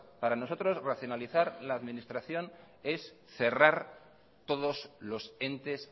para nosotros racionalizar la administración es cerrar todos los entes